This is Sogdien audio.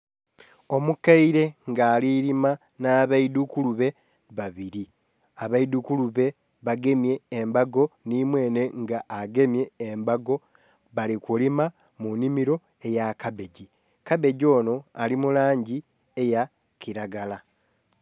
Omukeire nga alilima nha baidhukulube babiri, abeidhukulube bagemye embago nhi mwenhe nga agemye embago bali kulima mu nhimiro ya kabegi, kabegi onho ali mulangi eya kilagala.